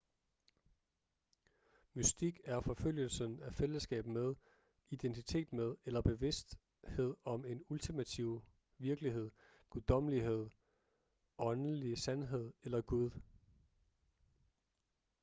mystik er forfølgelsen af fællesskab med identitet med eller bevidsthed om en ultimativ virkelighed guddommelighed åndelig sandhed eller gud